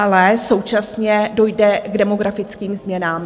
Ale současně dojde k demografickým změnám.